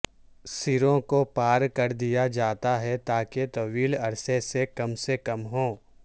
سروں کو پار کر دیا جاتا ہے تاکہ طویل عرصے سے کم سے کم ہو